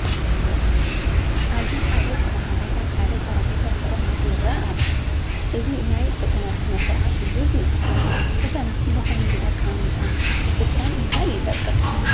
ኣብዚ ሓደ ተመሃራይ ኣብ ሓደ ጠረጴዛ ተቐሚጡ ይርአ ኣሎ፡፡ እዚ ናይ ፈተና ስነ ስርዓት እዩ ዝመስል፡፡ ፈተና ብኸምዚ ኣቐማምጣ ምፍታን እንታ ይጠቅም?